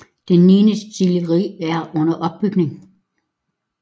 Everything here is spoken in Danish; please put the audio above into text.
Et niende destilleri er under opbygning